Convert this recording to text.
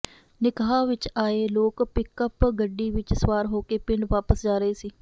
ਨਿਕਾਹ ਵਿੱਚ ਆਏ ਲੋਕ ਪਿਕਅੱਪ ਗੱਡੀ ਵਿੱਚ ਸਵਾਰ ਹੋ ਕੇ ਪਿੰਡ ਵਾਪਿਸ ਜਾ ਰਹੇ ਸੀ